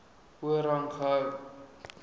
hoër rang gehou